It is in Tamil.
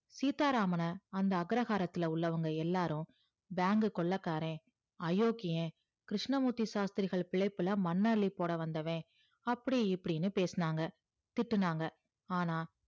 சீத்தாராமான அந்த அக்ரகராத்துள்ள எல்லாரும் BANK கொள்ளக்கார அயோக்கியேன் கிருஸ்னமூர்த்தி சாஸ்த்திரிகள் பிள்ளையளே மண் அள்ளி போடா வந்தவன் அப்டி இப்டி பேசுனாங்க திட்டுனாங்க ஆனா